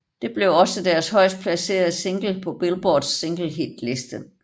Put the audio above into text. Det blev også deres højest placerede single på Billboards singlehitliste